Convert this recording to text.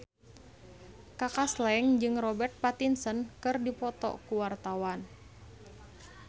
Kaka Slank jeung Robert Pattinson keur dipoto ku wartawan